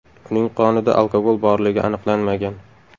Uning qonida alkogol borligi aniqlanmagan.